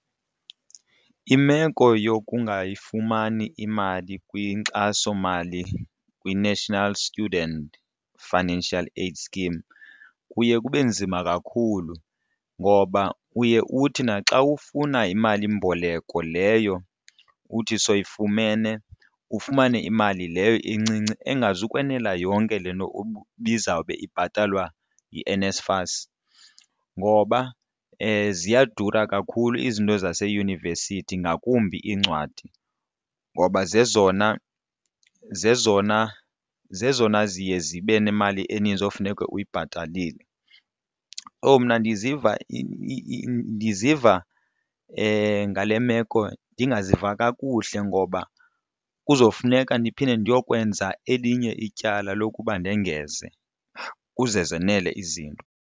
Imeko yokungayifumani imali kwinkxasomali kwiNational Student Financial Aid Scheme kuye kube nzima kakhulu ngoba uye uthi naxa ufuna imalimboleko leyo uthi soyifumene ufumane imali leyo incinci engazukwenela yonke le nto ibizawube ibhatalwa yiNSFAS ngoba ziyadura kakhulu izinto zaseyunivesithi ngakumbi iincwadi, ngoba zezona zezona zezona ziye zibe nemali eninzi okufuneke uyibhatalile. Umna ndiziva ndiziva ngale meko ndingaziva kakuhle ngoba kuzofuneka ndiphinde ndiyokwenza elinye ityala lokuba ndengeze uze zenele izinto.